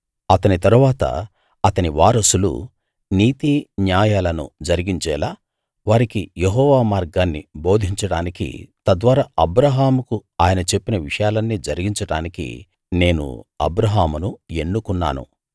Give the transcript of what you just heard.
అతని తరువాత అతని వారసులు నీతి న్యాయాలను జరిగించేలా వారికి యెహోవా మార్గాన్ని బోధించడానికీ తద్వారా అబ్రాహాముకు ఆయన చెప్పిన విషయాలన్నీ జరిగించడానికీ నేను అబ్రాహామును ఎన్నుకున్నాను